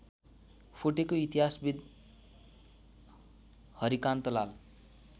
फुटेको इतिहासविद् हरिकान्तलाल